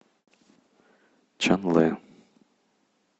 чанлэ